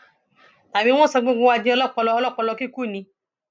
tàbí wọn sọ gbogbo wa di ọlọpọlọ ọlọpọlọ kíkú ni